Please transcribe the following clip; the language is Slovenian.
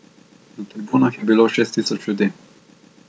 Na tribunah je bilo šest tisoč ljudi.